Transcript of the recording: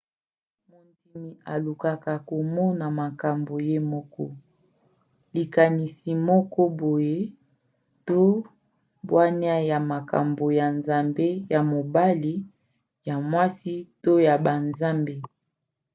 mondimi alukaka komona makambo ye moko likanisi moko boye to bwania ya makambo ya nzambe ya mobali/ya mwasi to ya banzambe